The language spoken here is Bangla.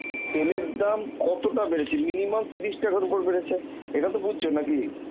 তেলের দাম কতটা বেড়েছে, মিনিমাম তিরিশ টাকার উপর বেড়েছে, ইটা তো বাজছ নাকি